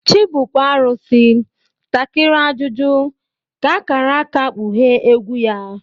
Chibu kwaurisi, takiri ajụjụ, ka akara aka kpughee egwu ya.